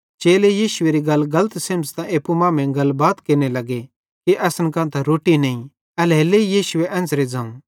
चेले यीशुएरी गल गलत सेमझ़तां एप्पू मांमेइं गलबात केरने लग्गे कि असन कां त रोट्टी नईं एल्हेरेलेइ यीशुए एन्च़रां ज़ोवं